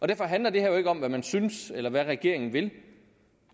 derfor handler det her jo ikke om hvad man synes eller hvad regeringen vil